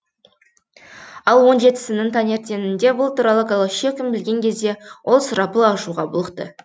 ал он жетісінің таңертеңінде бұл туралы голощекин білген кезде ол сұрапыл ашуға булықты